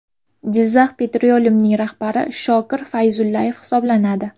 Jizzakh Petroleum’ning rahbari Shokir Fayzullayev hisoblanadi .